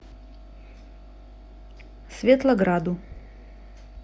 светлограду